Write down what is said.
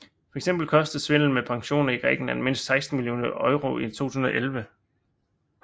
Fx kostede svindel med pensioner Grækenland mindst 16 millioner euro i 2011